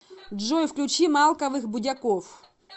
джой включи малковых будяков